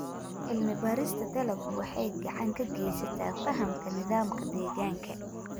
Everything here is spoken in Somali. Cilmi-baarista dalaggu waxay gacan ka geysataa fahamka nidaamka deegaanka.